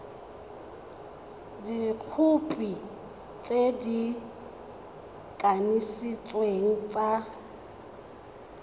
dikhopi tse di kanisitsweng tsa